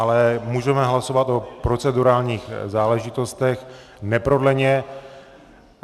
Ale můžeme hlasovat o procedurálních záležitostech neprodleně.